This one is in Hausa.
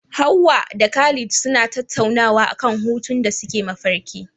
Hawwa da Khalid suna tattaunawa akan hutun da suke mafarki.